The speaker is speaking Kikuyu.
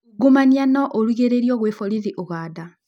Ungumania no ũrigĩrĩrio gwĩ borithĩ ũganda?